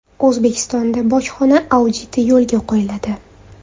O‘zbekistonda bojxona auditi yo‘lga qo‘yiladi.